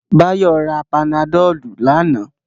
Báyọ̀ ra panadọ̀lù lánàá